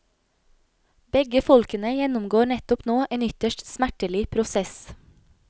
Begge folkene gjennomgår nettopp nå en ytterst smertelig prosess.